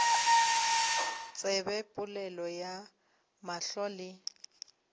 tsebe polelo ya mahlo le